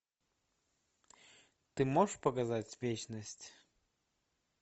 ты можешь показать вечность